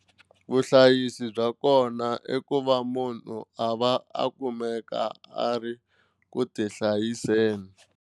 Vuhlayisi bya kona i ku va munhu a va a kumeka a ri ku tihlayiseni.